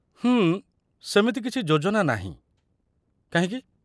ହୁଁ, ସେମିତି କିଛି ଯୋଜନା ନାହିଁ, କାହିଁକି?